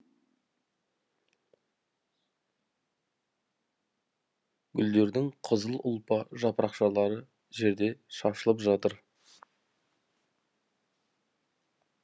гүлдердің қызыл ұлпа жапырақшалары жерде шашылып жатыр